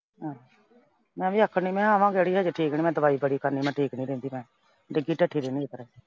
ਆਹ। ਮੈਂ ਵੀ ਆਕੜੀ ਮੈਂ ਕਿਹਾ ਆਵਾਂਗੇ ਅੜੀਏ ਅਜੇ ਮੈਂ ਦਵਾਈ ਬੜੀ ਖਾਨੀ ਆ। ਮੈਂ ਠੀਕ ਨਈਂ ਰਹਿੰਦੀ, ਮੈਂ ਡਿੱਗੀ ਢੱਠੀ ਰਹਿਨੀ ਆ।